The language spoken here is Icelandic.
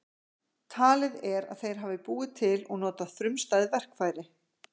Talið er að þeir hafi búið til og notað frumstæð verkfæri.